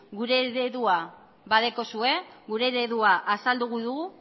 gure eredua badekozue gure eredua azaldu dugu